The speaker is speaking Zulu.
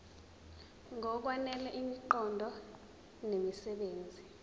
ngokwanele imiqondo nemisebenzi